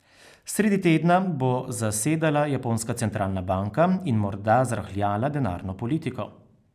Sredi tedna bo zasedala japonska centralna banka in morda zrahljala denarno politiko.